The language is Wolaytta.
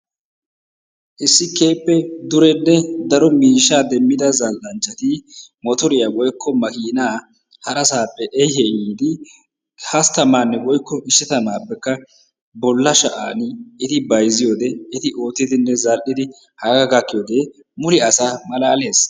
Issi keehippe durenne miishshaa demmida zal"anchchati motoriya woykko makiinaa hasaappe xeesi ehiidi hasttamaanne woykko ishatamaappekka bolla sha'aani eti bayzziyode eti oottidinne zal"idi hagaa gakkiyogee mule asaa malaalees.